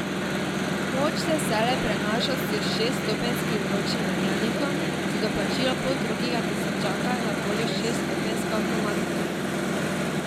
Moč se vselej prenaša s šeststopenjskim ročnim menjalnikom, za doplačilo poldrugega tisočaka je na voljo šeststopenjska avtomatika.